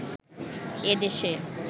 এ দেশে